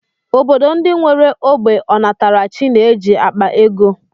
Obodo ndị nwere ógbè ọnatarachi na-eji akpa ego